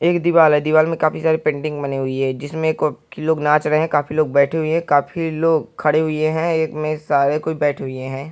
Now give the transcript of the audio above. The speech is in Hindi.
एक दीवाल है। दीवाल में काफी सारी पेंटिंग बनी हुई है जिसमें क-की लोग नाच रहे हैं। काफी लोग बैठे हुए हैं। काफी लोग खड़े हुए हैं। एक में सारे कोई बैठे हुए हैं।